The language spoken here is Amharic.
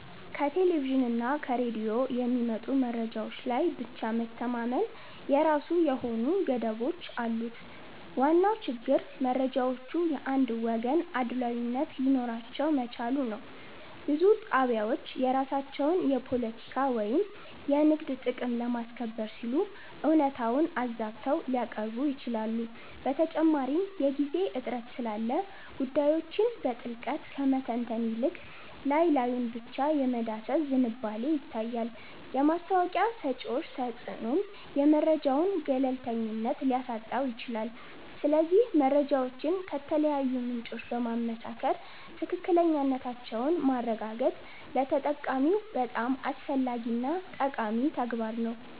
ከቴሌቪዥንና ከሬዲዮ የሚመጡ መረጃዎች ላይ ብቻ መተማመን የራሱ የሆኑ ገደቦች አሉት። ዋናው ችግር መረጃዎቹ የአንድ ወገን አድሏዊነት ሊኖራቸው መቻሉ ነው። ብዙ ጣቢያዎች የራሳቸውን የፖለቲካ ወይም የንግድ ጥቅም ለማስከበር ሲሉ እውነታውን አዛብተው ሊያቀርቡ ይችላሉ። በተጨማሪም የጊዜ እጥረት ስላለ ጉዳዮችን በጥልቀት ከመተንተን ይልቅ ላይ ላዩን ብቻ የመዳሰስ ዝንባሌ ይታያል። የማስታወቂያ ሰጪዎች ተጽዕኖም የመረጃውን ገለልተኝነት ሊያሳጣው ይችላል። ስለዚህ መረጃዎችን ከተለያዩ ምንጮች በማመሳከር ትክክለኛነታቸውን ማረጋገጥ ለተጠቃሚው በጣም አስፈላጊና ጠቃሚ ተግባር ነው